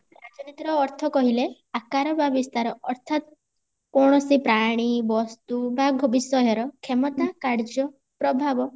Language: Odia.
ରାଜନୀତିର ଅର୍ଥ କହିଲେ ଆକାର ବା ବିସ୍ତାର ଅର୍ଥାତ କୌଣସି ପ୍ରାଣୀ ବସ୍ତୁ ବ ବିଷୟର କ୍ଷମତା କାର୍ଯ୍ୟ ପ୍ରଭାବ